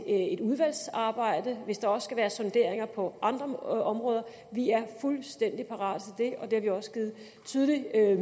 et udvalgsarbejde hvis der også skal være sonderinger på andre områder vi er fuldstændig parate det og det har vi også givet tydelig